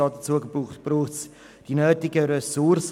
Dazu braucht es die nötigen Ressourcen.